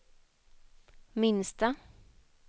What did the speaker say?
minsta